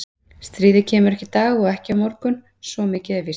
Stríðið kemur ekki í dag og heldur ekki á morgun svo mikið er víst.